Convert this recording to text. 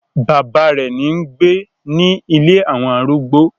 Bàbá rẹ̀ ń gbé ni “ ilé àwọn arúgbó".